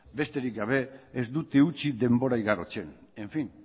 besterik gabe ez dute utzi denbora igarotzen en fin